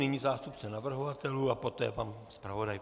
Nyní zástupce navrhovatelů a poté pan zpravodaj.